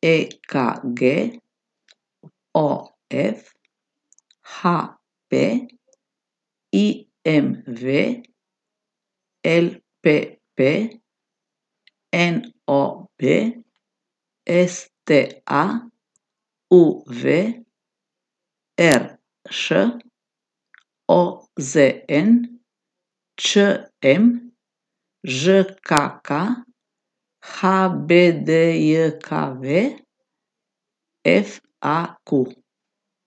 E K G; O F; H P; I M V; L P P; N O B; S T A; U V; R Š; O Z N; Č M; Ž K K; H B D J K V; F A Q.